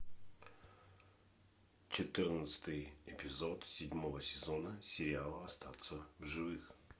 четырнадцатый эпизод седьмого сезона сериала остаться в живых